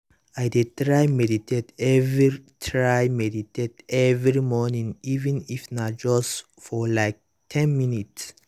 i dey try meditate every try meditate every morning even if na just for like ten minutes